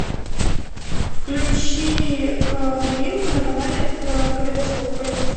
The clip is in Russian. включи новинку на канале калейдоскоп пожалуйста